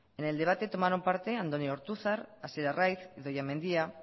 en el debate tomaron parte andoni ortuzar hasier arraiz idoia mendia